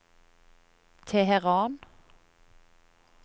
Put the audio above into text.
Teheran